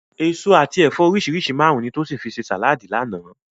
Èso àti ẹ̀fọ́ oríṣi márùn-ún ni Tósìn fi ṣe sàláàdì lánàá